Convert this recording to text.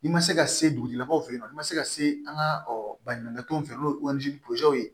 N'i ma se ka se dugutigilakaw fɛ yen nɔ n'i ma se ka se an ka baɲumankɛtɔnw fɛ n'o ye ye